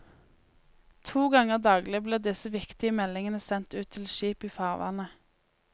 To ganger daglig blir disse viktige meldingene sendt ut til skip i farvannet.